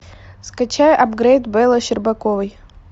скачай апгрейд беллы щербаковой